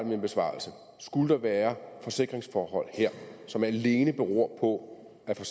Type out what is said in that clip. min besvarelse at skulle der være forsikringsforhold her som alene beror på at